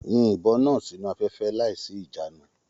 Yìn ìbọn náà sínú afẹfẹ láìsí ìjànu!